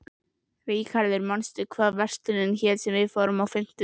Ríkharður, manstu hvað verslunin hét sem við fórum í á fimmtudaginn?